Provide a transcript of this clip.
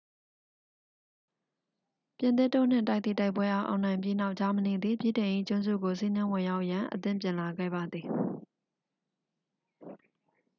ပြင်သစ်တို့နှင့် တိုက်သည့် တိုက်ပွဲအား အောင်နိုင်ပြီးနောက် ဂျာမနီသည် ဗြိတိန်၏ကျွန်းစုကို စီးနင်းဝင်ရောက်ရန် အသင့်ပြင်လာခဲ့ပါသည်